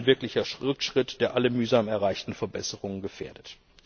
Ein wirklicher Rückschritt, der alle mühsam erreichten Verbesserungen gefährdet.